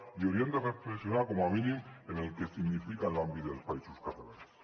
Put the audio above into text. i hauríem de reflexionar com a mínim en el que significa en l’àmbit dels països catalans